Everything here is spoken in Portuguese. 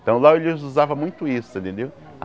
Então lá eles usavam muito isso, você entendeu?